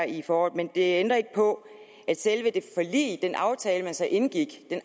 i foråret men det ændrer ikke på at selve det forlig den aftale man så indgik med